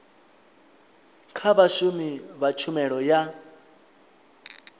kha vhashumi vha tshumelo ya